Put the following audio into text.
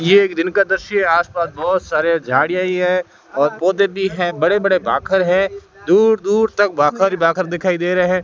यह एक दिन का दृश्य आसपास बहुत सारे झाड़ियां ही है और पौधे भी है बड़े बड़े भाखर है दूर दूर तक भाखर ही भाखर दिखाई दे रहे हैं।